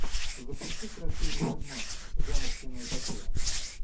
запусти красивый фильмас жанр киноэпопея